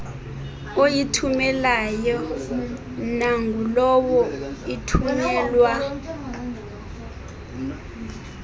oyithumelayo nangulowo ithunyelwa